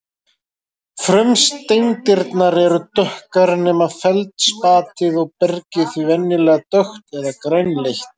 Frumsteindirnar eru dökkar nema feldspatið og bergið því venjulega dökkt eða grænleitt.